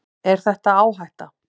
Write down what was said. Er þetta áhætta?